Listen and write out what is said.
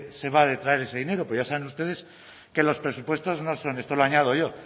se va a detraer ese dinero porque ya saben ustedes que los presupuestos no son esto lo añado yo